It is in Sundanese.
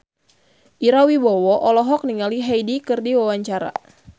Ira Wibowo olohok ningali Hyde keur diwawancara